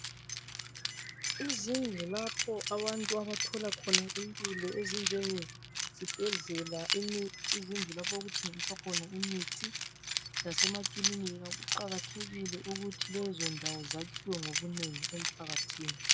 Izindlu lapho abantu abathola khona impilo ezinjenge zibhedlela, izindlu lapho okuthengiswa khona imithi lasemakilinika kuqakathekile ukuthi lezo ndawo zakhiwe ngobunengi emphakathini .